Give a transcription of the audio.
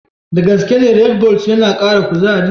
Da gaske ne Redbulls yana kara kuzari?